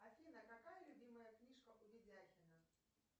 афина какая любимая книжка у видяхина